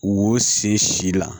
Wo sen si si la